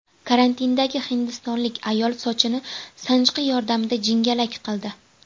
Karantindagi hindistonlik ayol sochini sanchqi yordamida jingalak qildi .